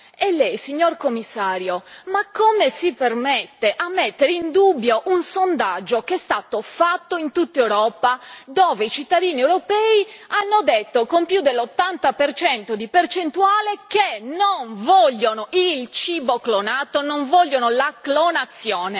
E lei, signor Commissario, ma come si permette di mettere in dubbio un sondaggio che è stato fatto in tutta Europa, dove i cittadini europei hanno detto con più dell'80 di percentuale che non vogliono il cibo clonato, non vogliono la clonazione?